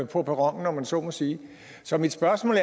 på perronen om man så må sige så mit spørgsmål